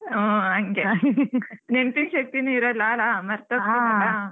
ಹೂ ಹಂಗೆ ನೆನಪಿನ್ ಶಕ್ತಿನೇ ಇರಲ್ಲ ಅಲ್ಲ .